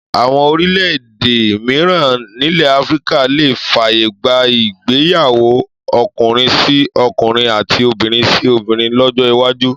Àwọn orílẹ̀-èdè mìíràn nílẹ̀ Áfíríkà lè fàyè gba ìgbéyàwó ọkùnrin-sí-ọkùnrin àti obìnrin-sí-obìnrin lọ́jọ́ iwájú